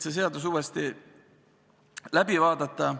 Seda eelnõu tuleks edasi arutada.